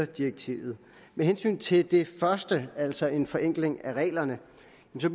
direktivet med hensyn til det første altså en forenkling af reglerne